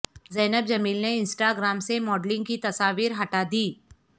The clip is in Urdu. زینب جمیل نے انسٹا گرام سے ماڈلنگ کی تصاویر ہٹا دیں